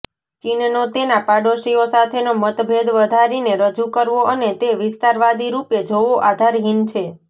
ચીનનો તેના પાડોશીઓ સાથેનો મતભેદ વધારીને રજૂ કરવો અને તે વિસ્તારવાદીરૂપે જોવો આધારહીન છે